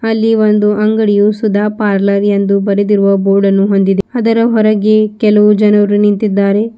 ಅಲ್ಲಿ ಒಂದು ಅಂಗಡಿಯು ಸುಧಾ ಪಾರ್ಲರ್ ಎಂದು ಬರೆದಿರುವ ಬೋರ್ಡನ್ನು ಹೊಂದಿದೆ ಅದರ ಹೊರಗೆ ಕೆಲವು ಜನರು ನಿಂತಿದ್ದಾರೆ.